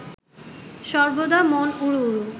সর্বদা মন উড়ু উড়ু